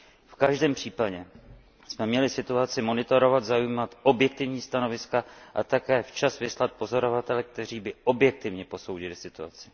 V každém případě jsme měli situaci monitorovat, zaujímat objektivní stanoviska a také včas vyslat pozorovatele, kteří by objektivně posoudili situaci.